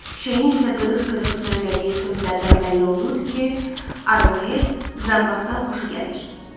Şeyxin isə qırıq-qırıq söylədiyi sözlərdən bəlli olurdu ki, Arohed Zambaxdan xoşu gəlir.